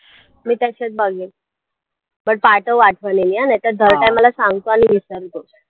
मी त्याच्यात बघेन पण पाठव आठवणीने नाही तर time ला सांगतो आणि विसरतो